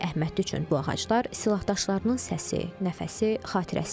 Əli Əhmədli üçün bu ağaclar silahdaşlarının səsi, nəfəsi, xatirəsidir.